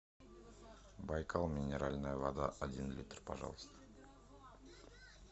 байкал минеральная вода один литр пожалуйста